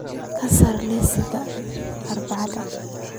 ka saar liiska Arbacada